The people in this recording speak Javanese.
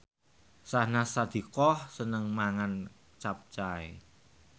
Syahnaz Sadiqah seneng mangan capcay